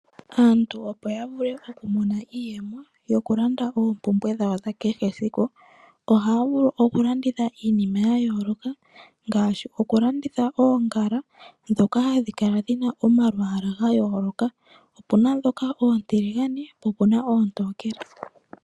Aantu opo ya vule oku mona iiyemo yokulanda ompumbwe dhawo dha kehe esiku oha vulu okulanditha iinima ya yooloka ngashi okulanditha ongaala ndhoka hadhi kala dhina omalwala gayooloka opuna ndhoka oontiligane po opuna oontokele .